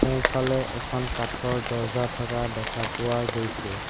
সোঁফালে এখন কাঠৰ দৰ্জা থকা দেখা পোৱা গৈছে।